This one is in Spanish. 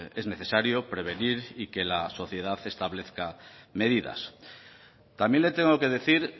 que es necesario prevenir y que la sociedad establezca medidas también le tengo que decir